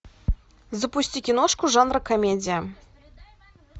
запусти киношку жанра комедия